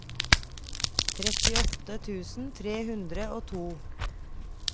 trettiåtte tusen tre hundre og to